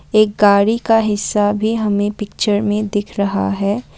एक गाड़ी का हिस्सा भी हमें पिक्चर में दिख रहा है।